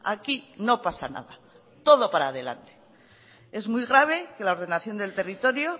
aquí no pasa nada todo para adelante es muy grave que la ordenación del territorio